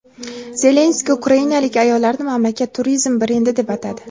Zelenskiy ukrainalik ayollarni mamlakat turizm brendi deb atadi.